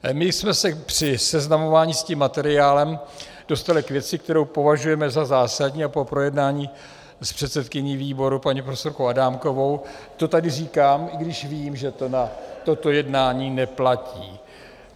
My jsme se při seznamování s tím materiálem dostali k věci, kterou považujeme za zásadní, a po projednání s předsedkyní výboru paní profesorkou Adámkovou to tady říkám, i když vím, že to na toto jednání neplatí.